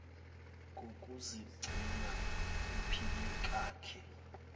kokuzigcina uphile kakhe